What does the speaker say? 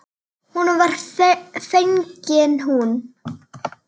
Honum var fengin hún.